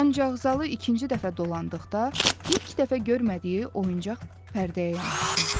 Ancaq zalı ikinci dəfə dolandıqda ilk dəfə görmədiyi oyuncaq pərdəyə yanaşdı.